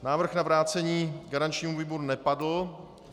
Návrh na vrácení garančnímu výboru nepadl.